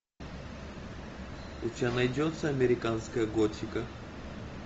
у тебя найдется американская готика